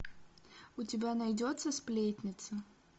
у тебя найдется сплетница